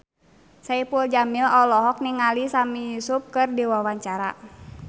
Saipul Jamil olohok ningali Sami Yusuf keur diwawancara